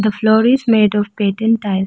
floor is made of patent tile.